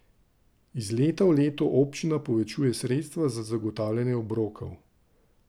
Iz leta v leto občina povečuje sredstva za zagotavljanje obrokov.